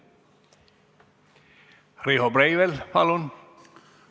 Riho Breivel, palun!